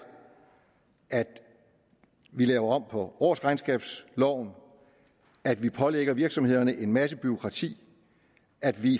at vi laver om på årsregnskabsloven at vi pålægger virksomhederne en masse bureaukrati at vi